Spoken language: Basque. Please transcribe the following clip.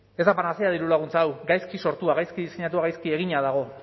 ez da panacea dirulaguntza hau gaizki sortua gaizki diseinatua gaizki egina dago